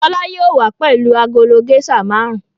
Fọlá yóò wá pẹ̀lú agolo géíṣà márùn-ún.